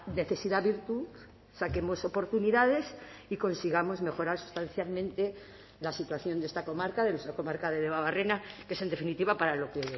necesidad virtud saquemos oportunidades y consigamos mejorar sustancialmente la situación de esta comarca de nuestra comarca de debabarrena que es en definitiva para lo que